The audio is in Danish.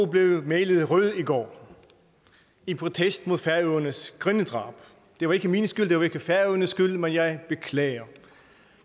blev malet rød i går i protest mod færøernes grindedrab det var ikke min skyld og det var ikke færøernes skyld men jeg beklager